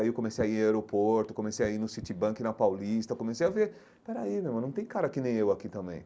Aí eu comecei a ir ao aeroporto, comecei a ir no Citibank na Paulista, comecei a ver... Peraí, meu irmão, não tem cara que nem eu aqui também.